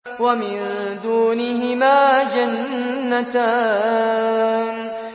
وَمِن دُونِهِمَا جَنَّتَانِ